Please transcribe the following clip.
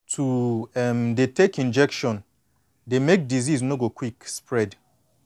to um dey take injection dey make disease no go quick spread